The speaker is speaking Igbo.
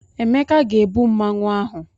Emeka ga-ebu Mmanwu ahụ.